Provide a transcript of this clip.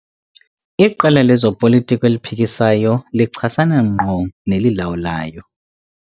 Iqela lezopolitiko eliphikisayo lichasana ngqo nelilawulayo.